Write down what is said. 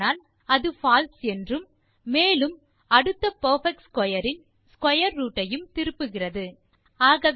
இல்லையானால் அது பால்சே என்றும் மேலும் அடுத்த பெர்பெக்ட் ஸ்க்வேர் இன் ஸ்க்வேர் ரூட் ஐயும் திருப்புகிறது